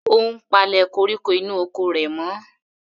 Ó ń palẹ̀ koríko inú oko rẹ̀ mọ́.